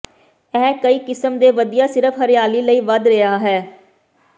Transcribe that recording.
ਇਹ ਕਈ ਕਿਸਮ ਦੇ ਵਧੀਆ ਸਿਰਫ਼ ਹਰਿਆਲੀ ਲਈ ਵਧ ਰਿਹਾ ਹੈ